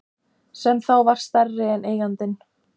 Sem þá var stærri en eigandinn.